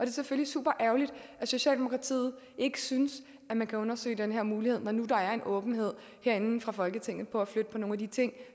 selvfølgelig super ærgerligt at socialdemokratiet ikke synes at man kan undersøge den her mulighed når nu der er en åbenhed herinde fra folketingets side for at flytte på nogle af de ting